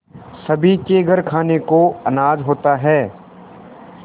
सभी के घर खाने को अनाज होता है